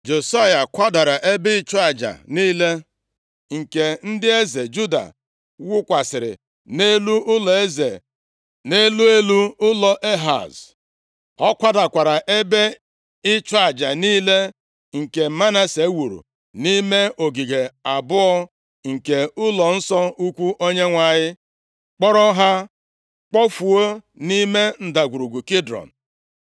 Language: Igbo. Josaya kwadara ebe ịchụ aja niile nke ndị eze Juda wukwasịrị nʼelu ụlọeze, nʼelu elu ụlọ Ehaz. Ọ kwadakwara ebe ịchụ aja niile nke Manase wuru nʼime ogige abụọ nke ụlọnsọ ukwu Onyenwe anyị, kporo ha kpofuo nʼime Ndagwurugwu Kidrọn.